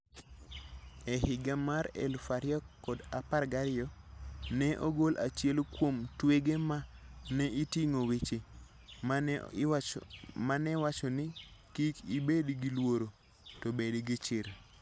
E higa mar 2012, ne ogol achiel kuom twege ma ne oting'o weche ma ne wacho ni, "Kik ibed gi luoro, to bed gi chir".